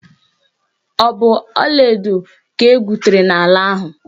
Ọ bụ ọlaedo ka egwutere n'ala ahụ.